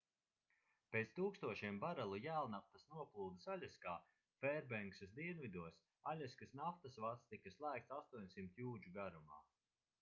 pēc tūkstošiem barelu jēlnaftas noplūdes aļaskā fērbenksas dienvidos aļaskas naftas vads tika slēgts 800 jūdžu garumā